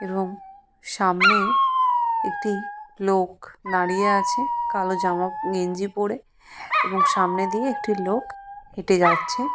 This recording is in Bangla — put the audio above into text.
এবং সামনে একটি লোক দাঁড়িয়ে আছে কালো জামা গেঞ্জি পরে এবং সামনে দিয়ে একটি লোক হেঁটে যাচ্ছে।